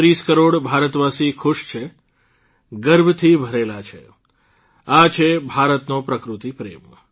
૧૩૦ કરોડ ભારતવાસી ખુશ છે ગર્વથી ભરેલા છે આ છે ભારતનો પ્રકૃતિપ્રેમ